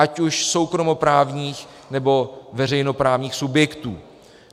Ať už soukromoprávních nebo veřejnoprávních subjektů.